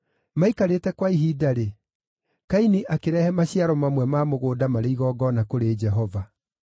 Maikarĩte kwa ihinda-rĩ, Kaini akĩrehe maciaro mamwe ma mũgũnda marĩ igongona kũrĩ Jehova.